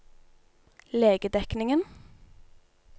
legedekningen